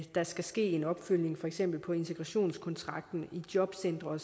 der skal ske en opfølgning på for eksempel integrationskontrakten i jobcentre